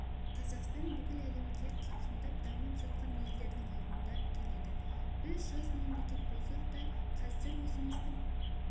қазақстан бүкіл әлемге қарқындап дамып жатқан елдердің алдында келеді біз жас мемлекет болсақ та қазір өзіміздің